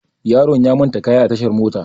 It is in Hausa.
Yaron ya manta kayan a tashar mota.